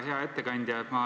Hea ettekandja!